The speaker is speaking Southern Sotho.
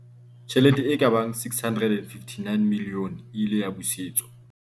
Tjhelete e ka bang R659 milione e ile ya busetswa